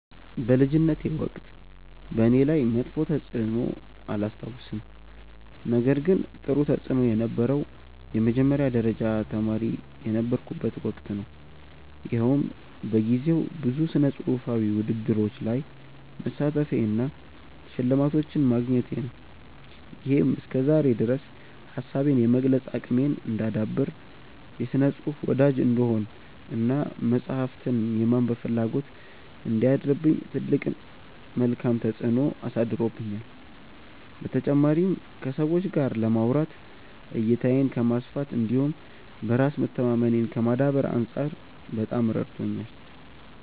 በልጅነቴ ወቅት በእኔ ላይ መጥፎ ተፅዕኖ አላስታውስም ነገር ግን ጥሩ ተፅእኖ የነበረው የመጀመሪያ ደረጃ ተማሪ የነበርኩበት ወቅት ነው። ይኸውም በጊዜው ብዙ ስነፅሁፋዊ ውድድሮች ላይ መሳተፌ እና ሽልማቶችን ማግኘቴ ነው። ይሄም እስከዛሬ ድረስ ሀሳቤን የመግለፅ አቅሜን እንዳዳብር፣ የስነ ፅሁፍ ወዳጅ እንድሆን እና መፅሀፍትን የማንበብ ፍላጎት እንዲያድርብኝ ትልቅ መልካም ተፅዕኖ አሳድሮብኛል። በተጨማሪም ከሰዎች ጋር ለማውራት፣ እይታዬን ከማስፋት እንዲሁም በራስ መተማመኔን ከማዳበር አንፃር በጣም ረድቶኛል።